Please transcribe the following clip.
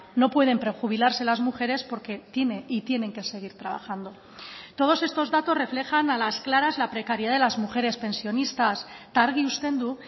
no pueden prejubilarse las mujeres porque tiene y tienen que seguir trabajando todos estos datos reflejan a las claras la precariedad de las mujeres pensionistas eta argi uzten du